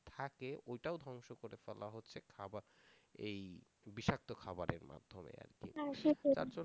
থাকে ওইটাও ধ্বংস করে ফেলা হচ্ছে, খাবার এই বিষাক্ত খাবারের মাধ্যমে আর কি